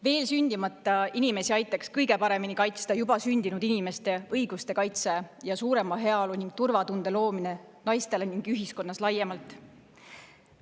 Veel sündimata inimesi aitaks kõige paremini kaitsta juba sündinud inimeste õiguste kaitse ja suurema heaolu ning turvatunde loomine naistele ning ühiskonnas laiemalt.